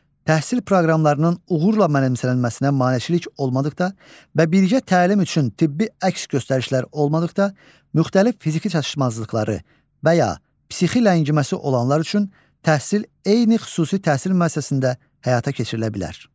Təhsil proqramlarının uğurla mənimsənilməsinə maneçilik olmadıqda və birgə təlim üçün tibbi əks göstərişlər olmadıqda müxtəlif fiziki çatışmazlıqları və ya psixi ləngiməsi olanlar üçün təhsil eyni xüsusi təhsil müəssisəsində həyata keçirilə bilər.